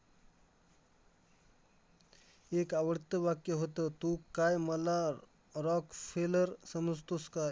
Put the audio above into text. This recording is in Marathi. एक आवडतं वाक्य होतं, तू काय मला rock seller समजतोस काय?